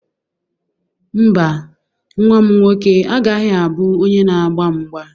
Mba, nwa m nwoke agaghị abụ onye na-agba mgba.